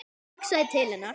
Ég hugsaði til hennar.